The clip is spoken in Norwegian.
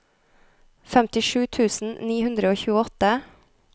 femtisju tusen ni hundre og tjueåtte